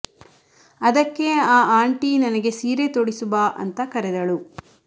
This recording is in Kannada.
ಅದಕ್ಕೆ ಆ ಆಂಟಿ ನನಗೆ ಸೀರೆ ತೊಡಿಸು ಬಾ ಅಂತ ಕರೆದಳು